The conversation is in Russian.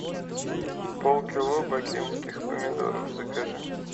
полкило бакинских помидоров закажи